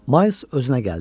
Mays özünə gəldi.